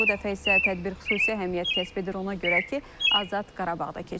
Bu dəfə isə tədbir xüsusi əhəmiyyət kəsb edir, ona görə ki, Azad Qarabağda keçirilir.